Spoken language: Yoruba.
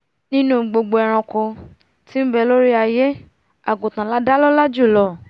nínú gbogbo ẹranko tí nbẹ lórí aiyé àgùntàn lá dá lọ́la jùlọ